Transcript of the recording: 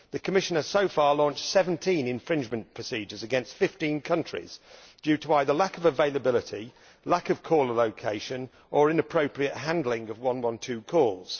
The Commission has so far launched 17 infringement procedures against 15 countries, due to either lack of availability, lack of caller location, or inappropriate handling of 112 calls.